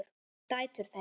Dætur þeirra